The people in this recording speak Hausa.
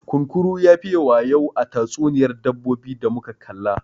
Kunkuru ya fiye wayau a tatsuniyar dabbobi da muka kalla.